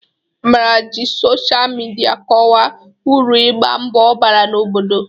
Amarachi ji sochaa midia kọwaa uru igba mbọ bara n'obodo.